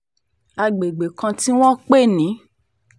àgbègbè kan tí wọ́n ń pè ní st